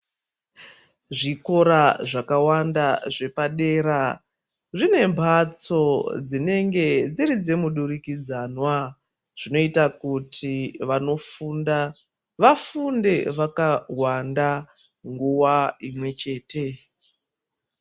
Zvikora zvakawanda zvepadera, zvine mbatso dzinenge dziri dzemudurikidzanwa. Zvinoita kuti vanofunda, vafunde vakawanda nguva imwe chete.